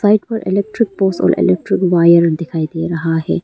Side पर electric pole और electric wire दिखाई दे रहा है।